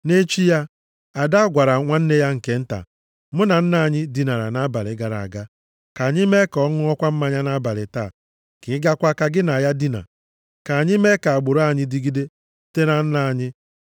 Nʼechi ya, ada gwara nwanne ya nke nta, “Mụ na nna anyị dinara nʼabalị gara aga. Ka anyị mee ka ọ ṅụọkwa mmanya nʼabalị taa, ka ị gaakwa ka gị na ya dina. Ka anyị mee ka agbụrụ anyị dịgide site na nna anyị.”